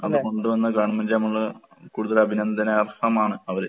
അത് കൊണ്ട് വന്ന കൂടുതലഭിനന്ദനാർഹമാണ് അവര്.